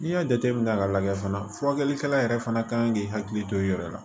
N'i y'a jateminɛ k'a lajɛ fana furakɛlikɛla yɛrɛ fana kan k'i hakili to i yɛrɛ la